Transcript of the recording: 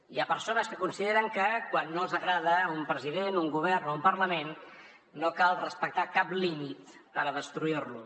hi ha persones que consideren que quan no els agrada un president un govern o un parlament no cal respectar cap límit per destruir lo